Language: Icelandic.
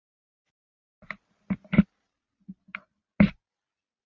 Sunna: Og eruð þið að fara á heimsmeistaramót?